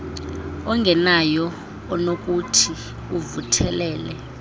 ongenayo onokuthi uvuthelele